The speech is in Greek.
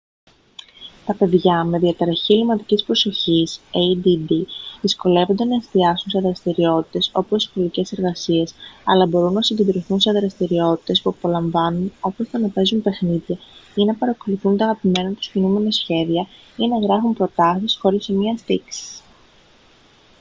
τα παιδιά με διαταραχή ελλειμματικής προσοχής add δυσκολεύονται να εστιάσουν σε δραστηριότητες όπως οι σχολικές εργασίες αλλά μπορούν να συγκεντρωθούν σε δραστηριότητες που απολαμβάνουν όπως το να παίζουν παιχνίδια ή να παρακολουθούν τα αγαπημένα τους κινούμενα σχέδια ή να γράφουν προτάσεις χωρίς σημεία στίξης